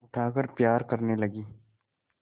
उठाकर प्यार करने लगी